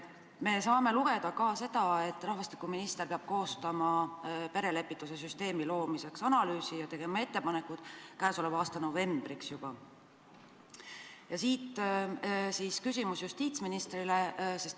Me saame lugeda ka seda, et rahvastikuminister peab koostama perelepituse süsteemi loomiseks analüüsi ja tegema ettepanekud juba käesoleva aasta novembriks.